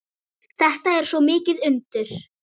Þetta er svo mikið undur.